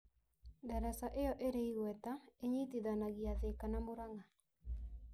Daraca ĩyo ĩrĩ igweta ĩnyitithanagia Thĩka na Mũrang'a.